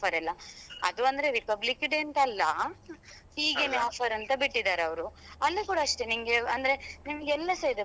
Offer ಎಲ್ಲ. ಅದು ಅಂದ್ರೆ Republic Day ಅಂತ ಅಲ್ಲ ಹೀಗೇನೆ offer ಅಂತ ಬಿಟ್ಟಿದ್ದಾರೆ ಅವ್ರು ಅಲ್ಲಿ ಕೂಡ ಅಷ್ಟೇ ನಿಮ್ಗೆ ಅಂದ್ರೆ ನಿಮ್ಗೆ ಎಲ್ಲಸ ಇದೆ.